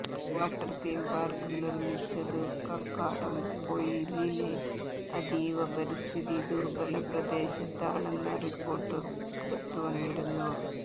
water theme park നിര്മിച്ചതു കക്കാടംപൊയിലിലെ അതീവ പരിസ്ഥിതി ദുര്ബല പ്രദേശത്താണെന്ന റിപ്പോര്ട്ടു പുറത്തുവന്നിരുന്നു